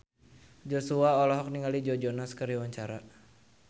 Joshua olohok ningali Joe Jonas keur diwawancara